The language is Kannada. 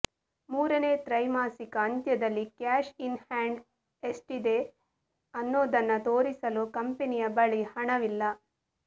ಮೂರನೇ ತ್ರೈಮಾಸಿಕ ಅಂತ್ಯದಲ್ಲಿ ಕ್ಯಾಶ್ ಇನ್ ಹ್ಯಾಂಡ್ ಎಷ್ಟಿದೆ ಅನ್ನೋದನ್ನ ತೋರಿಸಲು ಕಂಪನಿಯ ಬಳಿ ಹಣವಿಲ್ಲ